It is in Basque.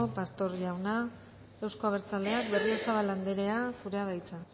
pastor jauna euzko abertzaleak berriozabal andrea zurea da hitza